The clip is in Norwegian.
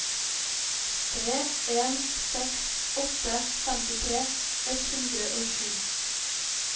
tre en seks åtte femtitre ett hundre og sju